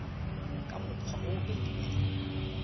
ka mokgwa o o beilweng